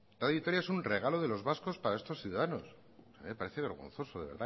radio vitoria es un regalo de los vascos para estos ciudadanos me parece vergonzoso de